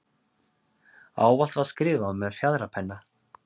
Ávallt var skrifað með fjaðrapenna.